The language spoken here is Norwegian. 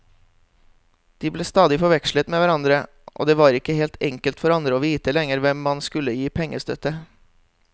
De ble stadig forvekslet med hverandre, og det var ikke enkelt for andre å vite lenger hvem man skulle gi pengestøtte.